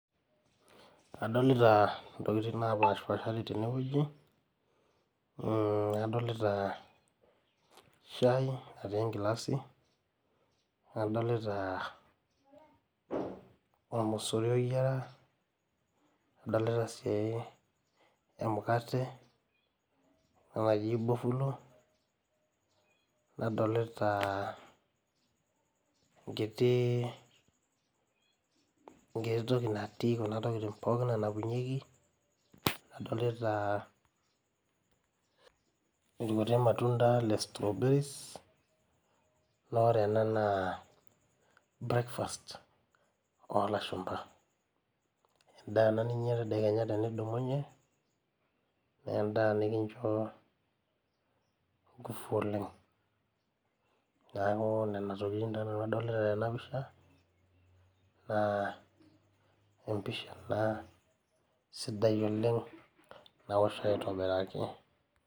Kadolita ntokitin napaashipashari tene wueji mmh, adolita shai natii enkilasi, nadolita olmosori oyiara, nadolita sii emukate ena naji bofulo. Nadolita enkiti, enkiti toki natii kuna tokitin pookin nanapunyieki. Nadolita ilkutik matunda le strayberries naa ore ena naa breakfast oo lashumpa. En`daa ena ninyia tedekenya tenidumunye. En`daa nikincho nguvu oleng. Niaku nena tokitin taa nanu adolita tena pisha, naa empisha ena sidai oleng nawosho aitobiraki.